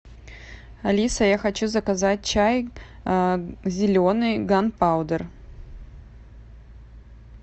алиса я хочу заказать чай зеленый ганпаудер